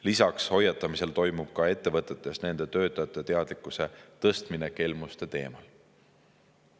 Lisaks hoiatamisele toimub ka ettevõtetes nende töötajate teadlikkuse tõstmine kelmuste teemal.